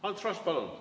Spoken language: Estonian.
Ants Frosch, palun!